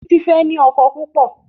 Titi fè ní ọkọ púpọ.